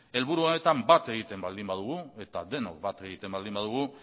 helburu honetan bat egiten baldin badugu eta denok bat egiten baldin badugu